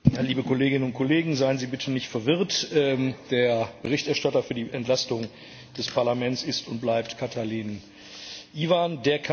Herr Präsident, liebe Kolleginnen und Kollegen! Seien Sie bitte nicht verwirrt, der Berichterstatter für die Entlastung des Parlaments ist und bleibt Cătălin Sorin Ivan.